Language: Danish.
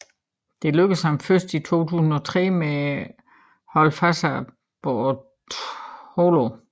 Dette lykkedes ham først i 2003 med holdet Fassa Bortolo